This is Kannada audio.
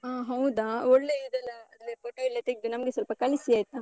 ಹಾ. ಹೌದಾ? ಒಳ್ಳೇ ಇದೆಲ್ಲ, ಅಲ್ಲಿಯ photo ಎಲ್ಲ ತೆಗ್ದು ನಮ್ಗೆ ಸ್ವಲ್ಪ ಕಳಿಸಿ ಆಯ್ತಾ?